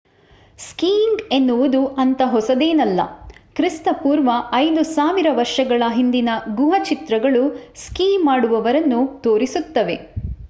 skiing ಎನ್ನುವುದು ಅಂತ ಹೊಸದೇನಲ್ಲ - ಕ್ರಿ.ಪೂ.5000 ವರ್ಷಗಳ ಹಿಂದಿನ ಗುಹಾ ಚಿತ್ರಗಳು ಸ್ಕೀ ಮಾಡುವವರನ್ನು ತೋರಿಸುತ್ತವೆ